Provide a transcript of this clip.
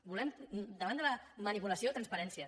volem davant de la manipulació transparència